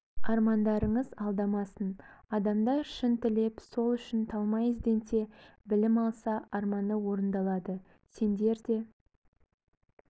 армаңдарыңыз алдамасын адамдар шын тілеп сол үшін талмай ізденсе білім алса арманы орындалады сендер де